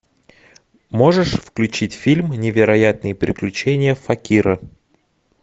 можешь включить фильм невероятные приключения факира